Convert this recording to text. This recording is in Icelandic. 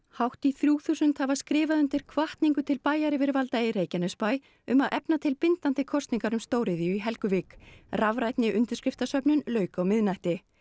hátt í þrjú þúsund hafa skrifað undir hvatningu til bæjaryfirvalda í Reykjanesbæ um að efna til bindandi íbúakosningar um stóriðju í Helguvík rafrænni undirskriftasöfnun lauk á miðnætti